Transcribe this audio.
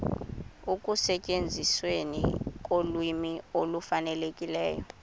ekusetyenzisweni kolwimi olufanelekileyo